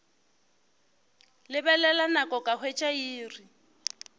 lebelela nako ka hwetša iri